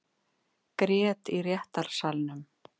Grét í réttarsalnum